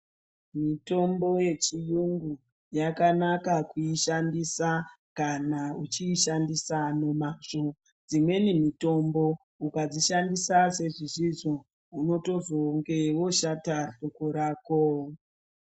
Mitombo yechiyungu yakanaka kuishandisa kana uchiishandisa nemazvo, dzimweni mitombo ukadzishandisa sezvisizvo unotozonge woshata hloko rako.